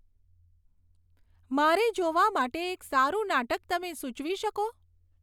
મારે જોવા માટે એક સારો નાટક તમે સુચવી શકો